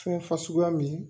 Fɛn fasuguya min